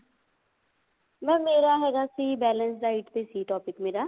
mam ਮੇਰਾ ਹੈਗਾ ਸੀ balanced diet ਤੇ ਸੀ topic ਮੇਰਾ